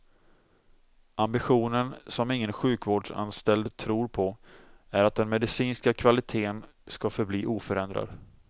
Ambitionen, som ingen sjukvårdsanställd tror på, är att den medicinska kvaliteten skall förbli oförändrad.